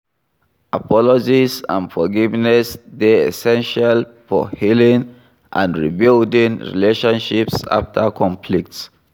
Apologies and forgiveness dey essential for healing and rebuilding relationships after conflicts.